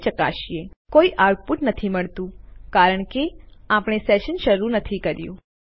અહીં શું થયું છે આપણને કોઈ આઉટપુટ નથી મળતું કારણ કે આપણે સેશન શરૂ કર્યું નથી